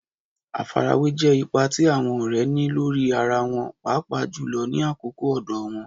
Àfarawé jẹ́ ipa tí àwọn ọ̀rẹ́ ní lórí ara wọn, pàápàá jùlọ ní àkókò ọ̀dọ̀ wọn.